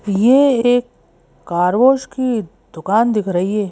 ये एक कारवाश की दुकान दिख रही है।